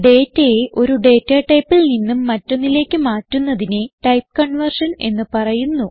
ഡേറ്റയെ ഒരു ഡേറ്റ ടൈപ്പിൽ നിന്നും മറ്റൊന്നിലേക്ക് മാറ്റുന്നതിനെ ടൈപ്പ് കൺവേർഷൻ എന്ന് പറയുന്നു